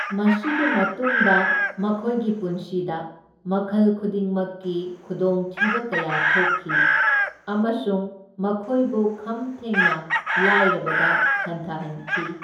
ꯃꯁꯤꯒꯤ ꯃꯇꯨꯡꯗ, ꯃꯈꯣꯏꯒꯤ ꯄꯨꯟꯁꯤꯗ ꯃꯈꯜ ꯈꯨꯗꯤꯡꯃꯛꯀꯤ ꯈꯨꯗꯣꯡꯊꯤꯕ ꯀꯌꯥ ꯊꯣꯛꯈꯤ, ꯑꯃꯁꯨꯡ ꯃꯈꯣꯏꯕꯨ ꯈꯝ ꯊꯦꯡꯅ ꯂꯥꯏꯔꯕꯗ ꯍꯟꯊꯍꯟꯈꯤ꯫